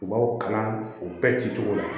U b'aw kalan u bɛɛ ci cogo la